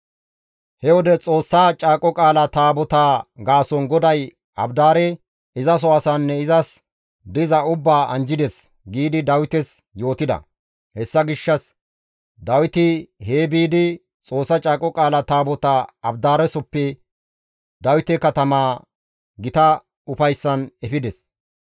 He wode, «Xoossa Caaqo Qaala Taabotaa gaason GODAY Abidaare, izaso asaanne izas diza ubbaa anjjides» giidi Dawites yootida. Hessa gishshas Dawiti hee biidi, Xoossa Caaqo Qaala Taabotaa Abidaaresoppe Dawite katama gita ufayssan efides.